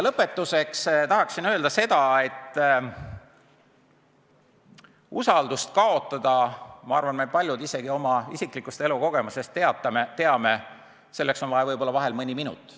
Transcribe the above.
Lõpetuseks tahan öelda seda, et küllap meist paljud ka oma isiklikust elukogemusest teavad, et usalduse kaotamiseks võib kuluda mõni minut.